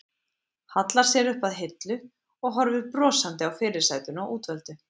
Hallar sér upp að hillu og horfir brosandi á fyrirsætuna útvöldu.